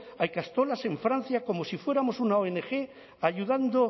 a ikastolas en francia como si fuéramos una ong ayudando